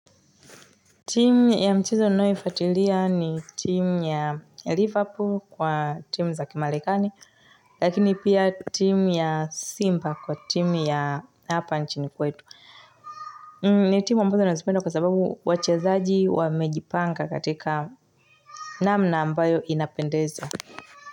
Timu ya michezo ninayoifatilia ni timu ya Liverpool kwa timu za Kimarekani, lakini pia timu ya Simba kwa timu ya hapa nchini kwetu. Ni timu ambazo nazipenda kwa sababu wachezaji wamejipanga katika namna ambayo inapendeza.